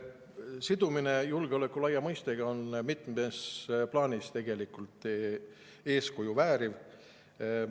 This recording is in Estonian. Sidumine julgeoleku laia mõistega on mitmes plaanis eeskuju vääriv.